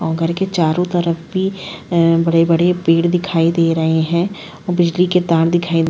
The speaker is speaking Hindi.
औं घर के चारों तरफ भी ए बड़े-बड़े पेड़ दिखाई दे रहे हैं ओ बिजली के तार दिखाई --